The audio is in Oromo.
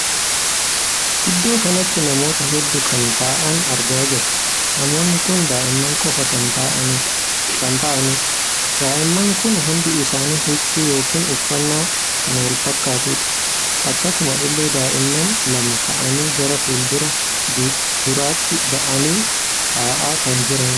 Iddoo kanatti namoota hedduu kan taa'an argaa jirra. namoonni kun daa'imman qofa kan taa'anidha. daa'imman kun hundi isaanii huccuu yookiin uffannaa kan wal fakkaatudha. akkasuma illee daa'immani lama taa'anii gara fuula duraatti baa'anii taa'aa kan jiraniidha.